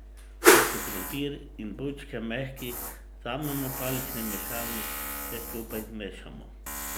Ko so krompir in bučke mehki, vzamemo palični mešalnik in vse skupaj zmešamo.